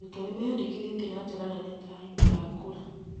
Arutwo nĩmeyandĩkithĩtie na njĩra nene ta aikia a kura